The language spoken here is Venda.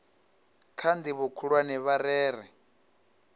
kha ndivho khulwane vha rere